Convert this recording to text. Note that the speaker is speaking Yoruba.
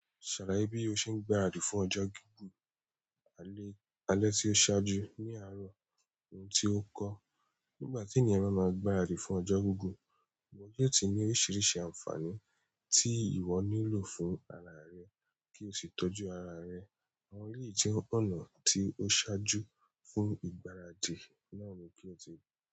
Ṣàláyẹ bí ó ṣe ń gbaradì fún ọjọ́ gígùn alẹ́ tí ó ṣáájú ní àárọ̀ ohun tí ó kọ. Nígbà tí ènìyàn ba máa ń gbaradì fún ọjọ́ gígùn, wọn yóò ti ní oríṣiríṣi àǹfààní tí ìwọ nílò fún ara rẹ kí o sì tọ́jú ara rẹ. Àwọn èyí jẹ́ ọ̀nà tí ó ṣáájú fún ìgbáradì náà ni kí o ti.